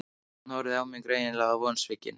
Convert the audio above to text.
Hún horfði á mig, greinilega vonsvikin.